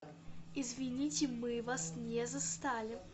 извините мы вас не застали